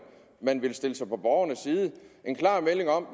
man vil stille sig på borgernes side en klar melding om